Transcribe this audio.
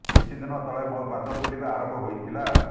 କିଛି ଦିନ ତଳେ ମୋ ପାଦ ଫୁଲିବା ଆରମ୍ଭ ହୋଇଥିଲା